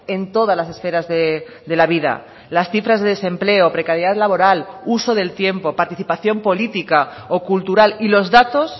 en todas las esferas de la vida las cifras de desempleo precariedad laboral uso del tiempo participación política o cultural y los datos